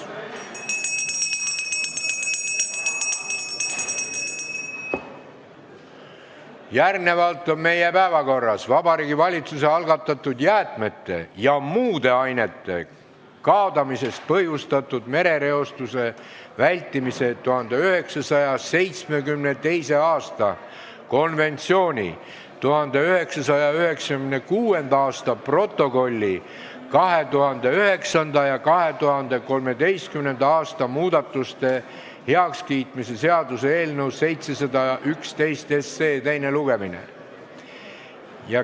Järgnevalt on meie päevakorras Vabariigi Valitsuse algatatud jäätmete ja muude ainete kaadamisest põhjustatud merereostuse vältimise 1972. aasta konventsiooni 1996. aasta protokolli 2009. ja 2013. aasta muudatuste heakskiitmise seaduse eelnõu 711 teine lugemine.